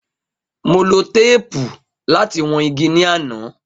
Mo lo teepu lati wọn igi ni ana